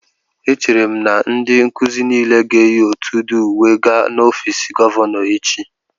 Echere m na ndị nkuzi niile ga-eyi otù udi uwe gaa n'ọfiisi gọvanọ echi